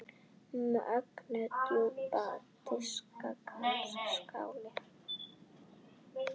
Mjög djúpir diskar kallast skálar.